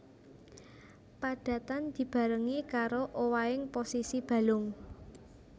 Padatan dibarengi karo owahing posisi balung